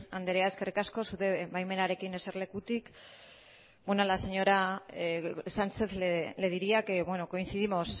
andrea eskerrik asko zure baimenarekin eserlekutik bueno a la señora sánchez le diría que coincidimos